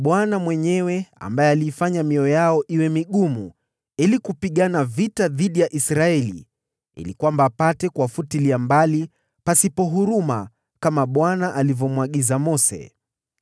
Kwa maana Bwana mwenyewe ndiye aliifanya mioyo yao iwe migumu, ili kupigana vita dhidi ya Israeli ili apate kuwafutilia mbali pasipo huruma, kama Bwana alivyomwagiza Mose.